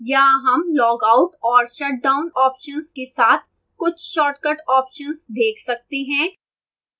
यहाँ हम log out और shut down options के साथ कुछ shortcut options देख सकते हैं